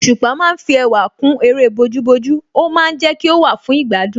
Òṣùpá ma ń fi ẹwà kún eré bójú bójú ó ma ń jẹ́ kí ó wà fún ìgbádùn